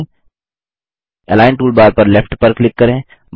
align toolbar पर left पर click करें